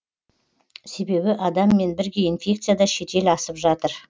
себебі адаммен бірге инфекция да шетел асып жатыр